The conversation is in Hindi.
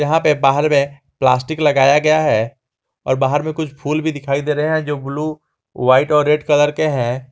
यहां पे बाहर में प्लास्टिक लगाया गया है और बाहर में कुछ फूल भी दिखाई दे रहे हैं जो ब्लू व्हाइट और रेड कलर के हैं।